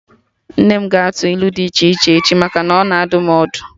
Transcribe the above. Nne m ga-atụ ilu dị iche iche echi maka na ọ na adụ m ọdụ